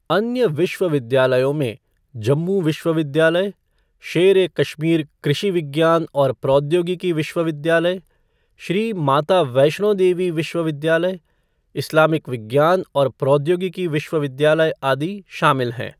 अन्य विश्वविद्यालयों में जम्मू विश्वविद्यालय, शेर ए कश्मीर कृषि विज्ञान और प्रौद्योगिकी विश्वविद्यालय, श्री माता वैष्णो देवी विश्वविद्यालय, इस्लामिक विज्ञान और प्रौद्योगिकी विश्वविद्यालय, आदि शामिल हैं।